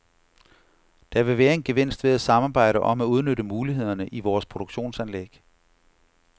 Der vil være en gevinst ved at samarbejde om at udnytte mulighederne i vores produktionsanlæg.